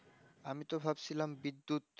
আমি তো ভাবছিলাম বিদ্যুৎ